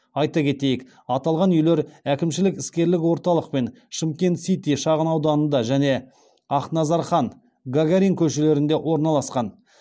айта кетейік аталған үйлер әкімшілік іскерлік орталық пен шымкент сити шағынауданында және ақназархан гагарин көшелерінде орналасқан